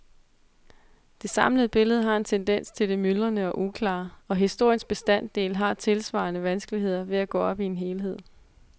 Det samlede billede har en tendens til det myldrende og uklare, og historiens bestanddele har tilsvarende vanskeligheder ved at gå op i en helhed.